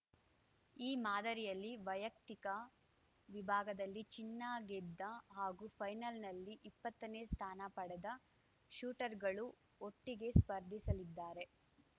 ಈ ಮಾದರಿಯಲ್ಲಿ ವೈಯಕ್ತಿಕ ವಿಭಾಗದಲ್ಲಿ ಚಿನ್ನ ಗೆದ್ದ ಹಾಗೂ ಫೈನಲ್‌ನಲ್ಲಿ ಇಪ್ಪತ್ತನೇ ಸ್ಥಾನ ಪಡೆದ ಶೂಟರ್‌ಗಳು ಒಟ್ಟಿಗೆ ಸ್ಪರ್ಧಿಸಲಿದ್ದಾರೆ